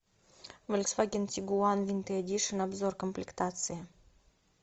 фольксваген тигуан винтер эдишн обзор комплектации